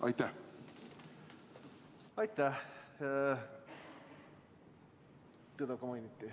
Aitäh!